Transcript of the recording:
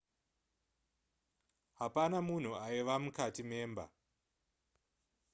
hapana munhu aiva mukati memba